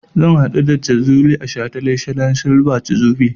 Zan haɗu da Jazuli a shataletalen silver jubilee.